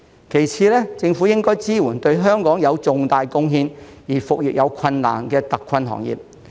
其次，政府應該支援對香港有重大貢獻而復業有困難的特困行業。